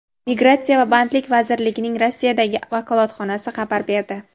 migratsiya va bandlik vazirligining Rossiyadagi vakolatxonasi xabar berdi.